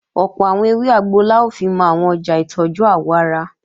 Ọ̀pọ̀ àwọn ewé àgbo la ó fimọ́ àwọn ọjà ìtọ́jú àwọ̀ ara